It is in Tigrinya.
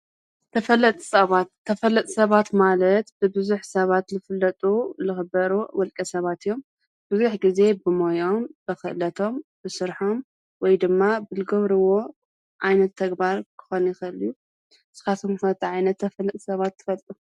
ተፈለጥቲ ሰባት፣ ተፈለጥቲ ሰባት ማለት ብብዙኅ ሰባት ልፍለጡ፣ ልኽበሩ ወልቀ ሰባት እዮም። ብዙኅ ጊዜ ብሞዮኦም፣ ብኽእለቶም፣ ብስርሖም ወይ ድማ ብልገብርዎ ኣይነት ተግባር ክኾነ ይኸእል እዩ። እስካትኩም ከ ታይ ዓይነት ተፈለጥ ሰባት ትፈልጡ?